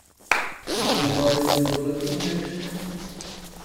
Bodo njegove jedi bolj latinoameriške?